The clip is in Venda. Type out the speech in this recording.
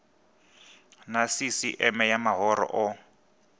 na sisieme ya mahoro o